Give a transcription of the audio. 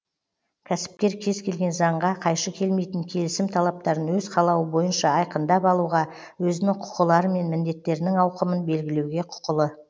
кәсіпкер кез келген заңға қайшы келмейтін келісім талаптарын өз қалауы бойынша айқындап алуға өзінің құқылары мен міндеттерінің ауқымын белгілеуге құқылы